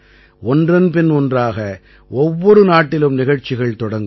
ஒன்றன் பின் ஒன்றாக ஒவ்வொரு நாட்டிலும் நிகழ்ச்சிகள் தொடங்கும்